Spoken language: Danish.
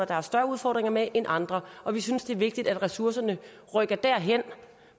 der har større udfordringer med end andre og vi synes det er vigtigt at ressourcerne rykker derhen